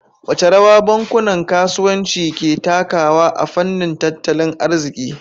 Wace rawa bankunan kasuwanci ke takawa a fannin tattalin arziki?